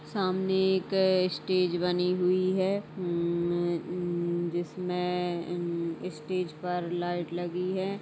सामने एक स्टेज बनी हुई है। उम्म्म्म्म उम्म जिसमें उम्म स्टेज पर लाइट लगी है।